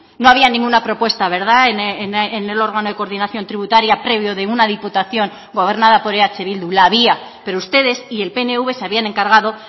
no había ninguna propuesta verdad en el órgano de coordinación tributaria previo de una diputación gobernada por eh bildu la había pero ustedes y el pnv se habían encargado